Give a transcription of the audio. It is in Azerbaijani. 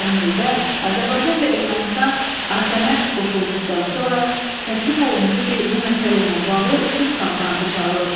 Həmin ildə Azərbaycan və Ermənistan ATƏM-ə qoşulduqdan sonra təklif olundu ki, bu məsələ ilə bağlı sülh konfransı çağırılsın.